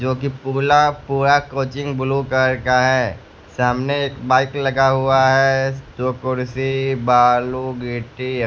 जो कि पूला पूरा कोचिंग ब्लू कलर का है सामने एक बाइक लगा हुआ है जो कुर्सी बालू गिट्टी --